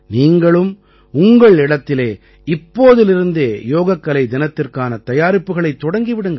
நீங்களும் உங்கள் இடத்திலே இப்போதிலிருந்தே யோகக்கலை தினத்திற்கான தயாரிப்புகளைத் தொடங்கி விடுங்கள்